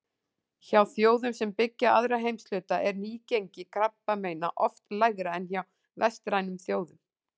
Hjá þjóðum sem byggja aðra heimshluta er nýgengi krabbameina oft lægra en hjá vestrænum þjóðum.